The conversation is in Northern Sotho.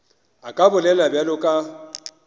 a ka bolela bjalo ka